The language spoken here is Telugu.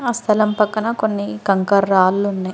ఆ స్థలం పక్కన కొన్ని కంకర రాళ్ళున్నాయ్.